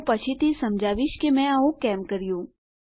હું પછીથી સમજાવીશ કે મેં આવું કેમ કર્યું